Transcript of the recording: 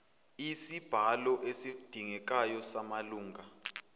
isibalo esidingekayo samalunga